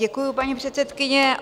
Děkuji, paní předsedkyně.